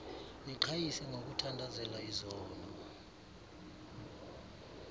niqhayise ngokuthandazela izono